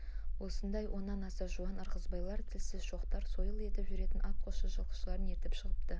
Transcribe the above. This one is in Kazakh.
осындай оннан аса жуан ырғызбайлар тілсіз шоқтар сойыл етіп жүретін ат қосшы жылқышыларын ертіп шығыпты